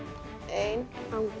ein